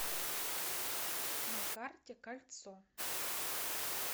на карте кольцо